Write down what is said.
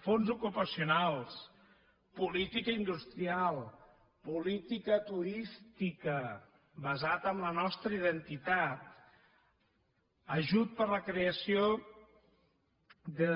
fons ocupacionals política industrial política turística basada en la nostra identitat ajut per a la creació de